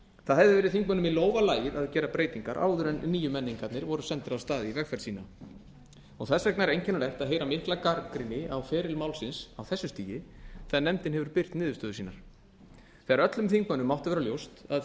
það hefði verið þingmönnum í lófa lagið að gera breytingar áður en níumenningarnir voru sendir af stað í vegferð sína þess vegna er einkennilegt að heyra mikla gagnrýni á feril málsins á þessu stigi þegar nefndin hefur birt niðurstöður sínar þegar öllum þingmönnum mátti að vera ljóst að